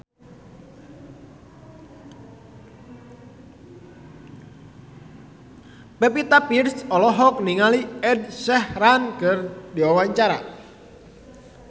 Pevita Pearce olohok ningali Ed Sheeran keur diwawancara